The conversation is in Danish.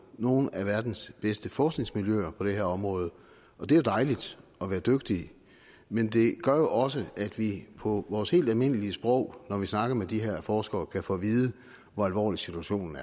og nogle af verdens bedste forskningsmiljøer på det her område og det er dejligt at være dygtig men det gør jo også at vi på vores helt almindelige sprog når vi snakker med de her forskere kan få at vide hvor alvorlig situationen